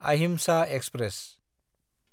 Ahimsa express